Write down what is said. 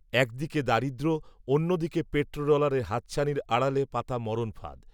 একদিকে দারিদ্র অন্যদিকে পেট্রো ডলারের হাতছানির আড়ালে পাতা মরণফাঁদ